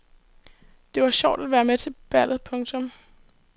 Det var sjovt at være med til ballet. punktum